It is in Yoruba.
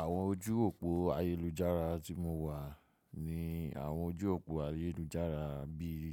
Àwọn ojú òpó ayélujára tí mo wà ní àwọn ojú òpó ayélujára bí i